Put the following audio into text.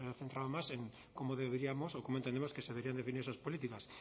centrado más en cómo deberíamos o cómo entendemos que se deberían definir esas políticas